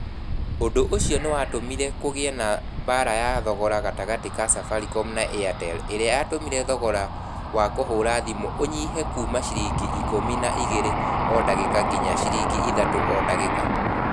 ũndũ ũcio nĩ watũmire kũgĩe na mbaara ya thogora gatagatĩ ka Safaricom na Airtel ĩrĩa yatũmire thogora wa kũhũra thimũ ũnyihe kuuma ciringi ĩkũmi na igĩrĩ o ndagĩka nginya ciringi ithatũ o ndagĩka.